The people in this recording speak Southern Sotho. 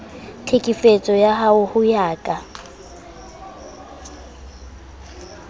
tlhekefetso ao ho ya ka